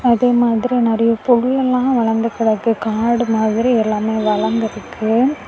அதே மாதிரி நறைய பொருலெல்லாம் வளர்ந்து கிடக்கு காடு மாதிரி எல்லாமே வளந்துருக்கு.